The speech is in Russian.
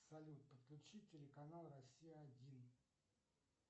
салют подключи телеканал россия один